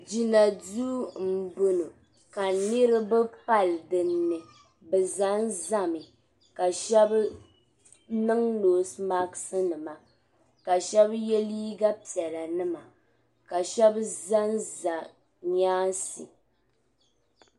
Gina duu m bo ŋɔ ka niribi pali din ni bɛ zanzami ka shɛbi niŋ noosi masknima ka shɛbi ye liiga piɛlanima ka shɛb zanza nyaansi.